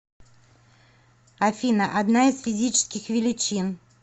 афина одна из физических величин